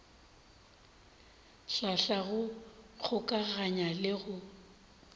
hlahla go kgokaganya le go